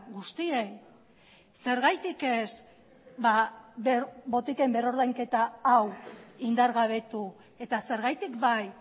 guztiei zergatik ez botiken berrordainketa hau indargabetu eta zergatik bai